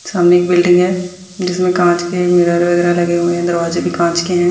सामने एक बिल्डिंग है जिसमें कांच के मिरर वगैरा लगे हुए हैं दरवाजें भी कांच के हैं।